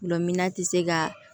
Gulɔmin ti se ka